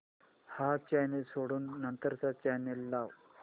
हा चॅनल सोडून नंतर चा चॅनल लाव